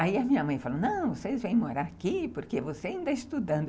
Aí a minha mãe falou, não, vocês vêm morar aqui porque você ainda está estudando.